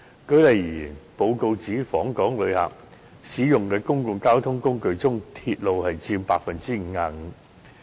舉例而言，該報告指出訪港旅客使用的眾多公共交通工具中，鐵路佔 55%。